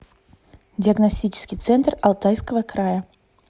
диагностический центр алтайского края